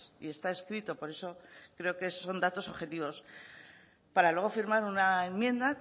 y está escrito por eso creo que son datos objetivos para luego firmar una enmienda